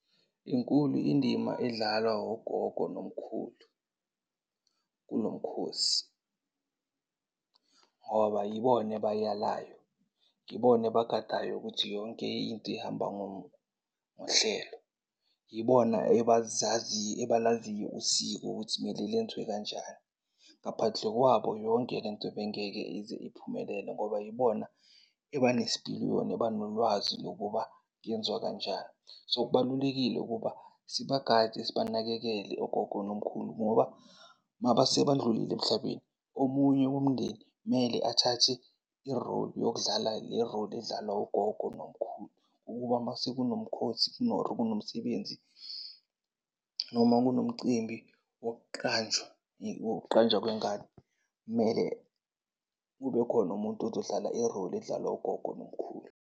Inkulu indima edlalwa wogogo nomkhulu kulo mkhosi ngoba yibona abayalayo, yibona ebagadayo ukuthi yonke into ihamba ngohlelo. Yibona ebalaziyo usiko ukuthi mele lenziwe kanjani. Ngaphandle kwabo yonke le nto bengeke ize iphumelele ngoba yibona ebanesipiliyoni, ebanolwazi lokuba lenziwa kanjani. So, kubalulekile ukuba sibagade, sibanakekele ogogo nomkhulu ngoba mabasebandlulile emhlabeni omunye womndeni kumele athathe i-role yokudlala i-role edlalwa ugogo nomkhulu. Ukuba mase kunomkhosi or kunomsebenzi, noma kunomcimbi wokuqanjwa wokuqanjwa kwengane kumele kube khona umuntu ozodlala i-role edlalwa ugogo nomkhulu.